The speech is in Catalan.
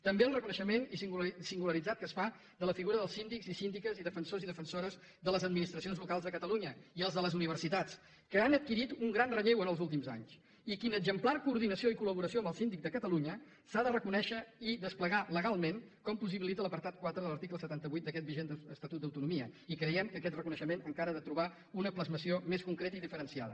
també el reconeixement singularitzat que es fa de la figura dels síndics i síndiques i defensors i defensores de les administracions locals de catalunya i els de les universitats que han adquirit un gran relleu en els últims anys i l’exemplar coordinació i col·laboració amb el síndic de catalunya s’ha de reconèixer i desplegar legalment com possibilita l’apartat quatre de l’article setanta vuit d’aquest vigent estatut d’autonomia i creiem que aquest reconeixement encara ha de trobar una plasmació més concreta i diferenciada